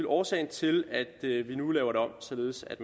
årsagen til at vi nu laver det om således at